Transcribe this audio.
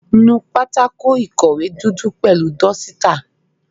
Nú pátákó ìkọ̀wé dúdú pẹ̀lú dọ́sítà.